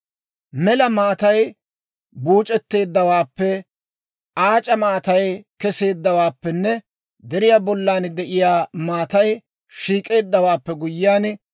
Mela maatay buuc'etteeddawaappe, aac'a maatay keseeddawaappenne deriyaa bollan de'iyaa maatay shiik'eeddawaappe guyyiyaan,